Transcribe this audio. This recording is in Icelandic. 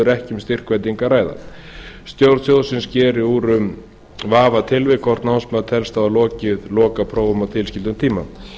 um styrkveitingu að ræða stjórn sjóðsins sker úr um í vafatilvikum hvort námsmaður telst hafa lokið lokaprófum á tilskildum tíma